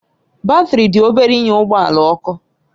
Batrị dị obere ịnye ụgbọ ala ọkụ